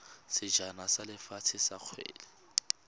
sejana sa lefatshe sa kgwele